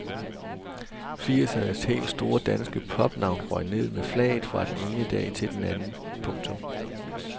Firsernes helt store danske popnavn røg ned med flaget fra den ene dag til den anden. punktum